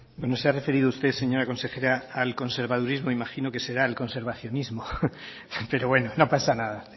bueno se ha referido usted señora consejera al conservadurismo me imagino que será el conservacionismo pero bueno no pasa nada